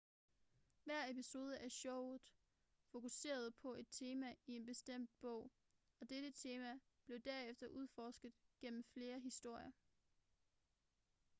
hver episode af showet fokuserede på et tema i en bestemt bog og dette tema blev derefter udforsket gennem flere historier